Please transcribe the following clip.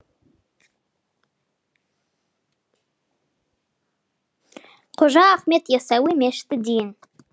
қожа ахмет яссауи мешіті дейін